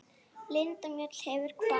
Linda Mjöll hefur kvatt.